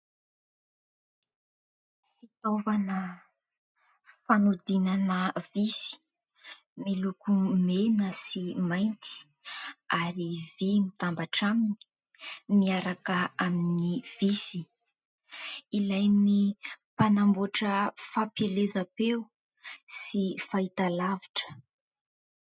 Fitaovana fanodinana visy miloko mena sy mainty ary vy mitambatra aminy, miaraka amin'ny visy, ilain'ny mpanamboatra fampielezam-peo sy fahitalavitra.